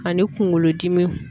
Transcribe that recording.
Ani kunkolodimiw.